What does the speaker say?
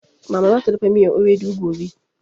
Mama zata dafa miyan ewedu gobe